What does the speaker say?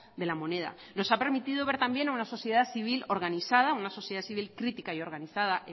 de la moneda nos ha permitido ver también una sociedad civil organizada una sociedad civil crítica y organizada